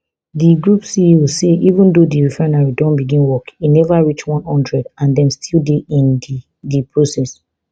di group ceo say even though di refinery don begin work e never reach one hundred and dem still dey in di di process